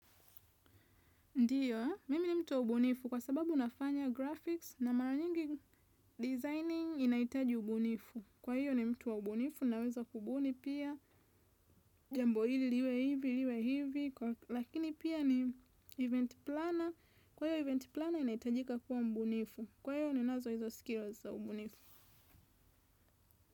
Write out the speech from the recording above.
Ndiyo, mimi ni mtu wa ubunifu kwa sababu nafanya graphics na mara nyingi designing inahitaji ubunifu. Kwa hiyo ni mtu wa ubunifu, naweza kubuni pia, jambo hili, liwe hivi, liwe hivi, lakini pia ni event planner. Kwa hiyo event planner inahitajika kuwa mbunifu. Kwa hiyo ni nazo hizo skills za ubunifu.